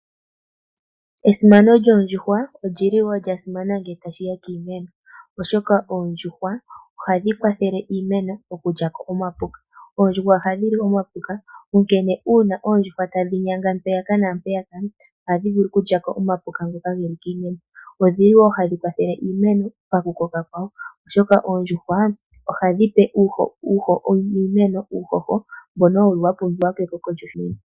Esimano lyoondjuhwa olyili wo lya simana ngele ta shiya kiimeno, oshoka oondjuhwa ohadhi kwathele iimeno okulya ko omapuka. Oondjuhwa ohadhi li omapuka, onkene uuna oondjuhwa tadhi nyanga mpaka naampeyaka ohadhi vulu okulya ko omapuko ngoka geli kiimeno, odhili wo hadhi kwathele iimeno paku koka kwawo, oshoka oondjuhwa ohadhi pe iimeno uuhoho mbono wuli wa pumbiwa ke koko lyoshimeno.